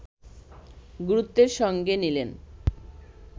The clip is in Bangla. গুরুত্বের সঙ্গে নিলেন